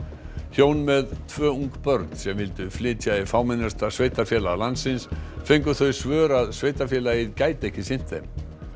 hjón með tvö ung börn sem vildu flytja í fámennasta sveitarfélag landsins fengu þau svör að sveitarfélagið gæti ekki sinnt þeim